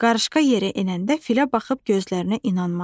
Qarışqa yerə enəndə filə baxıb gözlərinə inanmadı.